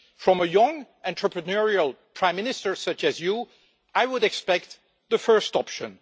From a young, entrepreneurial Prime Minister such as you, I would expect the first option.